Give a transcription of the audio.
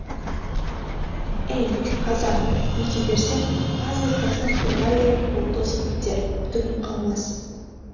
ей қазақ бүйте берсең аз ұрпағың торғайдай тозып бітер түгің қалмас